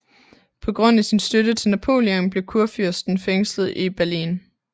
På grund af sin støtte til Napoleon blev kurfyrsten fængslet i Berlin